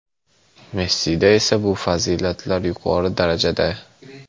Messida esa bu fazilatlar yuqori darajada.